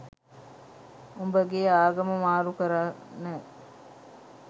උඹගේ ආගම මාරු කරන්න.